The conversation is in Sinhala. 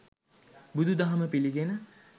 බුදුදහම පිළිගෙන